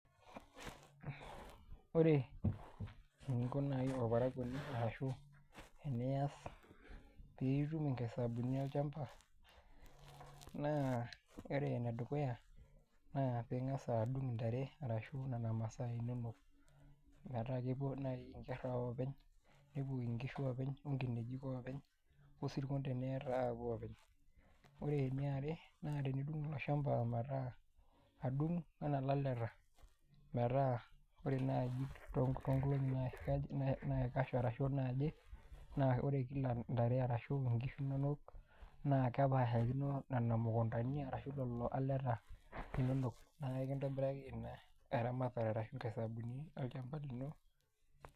ore eniko naji olparakuoni arashu enias pee itum inkaisabunii olchampa. naa, ore ene dukuya, naa pee ingas adung' intare ashu nena masaa inonok. metaa kepuo naaji inkera oopeny. nepuo nkishu oopeny, onkiejik oopeny. osirkon teniata apuo oopeny, ore eniare naa tenidung ina shampa metaa, adung anaa ilaleta, metaa ore naji too nkolong'i naji, naikash arashu naaje. naa ore kila ntare arashu nkishu inonok, naa kepaashakino nena mukuntani arashu lelo aleta linonok, naa ekintobiraki eramatre arshu inkaisabuni ino